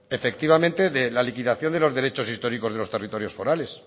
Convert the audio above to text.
efectivamente de la liquidación de los derechos históricos de los territorios forales